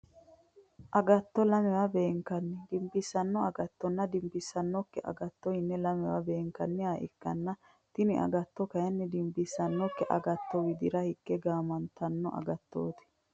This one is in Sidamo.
Agatto lamewa benkanni dimbisano agattonna dimbisanoki agatto yinne lamewa beenkanniha ikanna tinni agatto kayinni dimbisanoki agatto widira hige gaamantano agattoti?